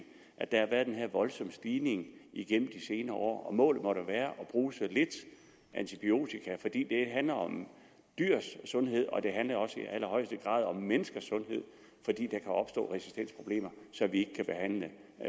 at der har været den her voldsomme stigning igennem de senere år målet må da være at bruge så lidt antibiotika fordi det handler om dyrs sundhed og i allerhøjeste grad også om menneskers sundhed fordi der kan opstå resistensproblemer så vi ikke kan behandle